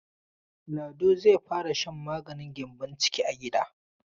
Lado zai fara shan maganin gyambon ciki a gida.